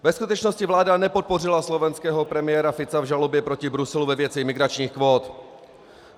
Ve skutečnosti vláda nepodpořila slovenského premiéra Fica v žalobě proti Bruselu ve věci migračních kvót.